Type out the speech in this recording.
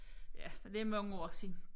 Ja men det er mange år siden